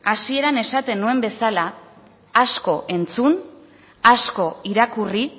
hasieran esaten nuen bezala asko entzun asko irakurri